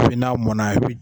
n'a mɔna i bi